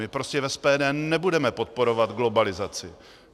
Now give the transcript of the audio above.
My prostě v SPD nebudeme podporovat globalizaci.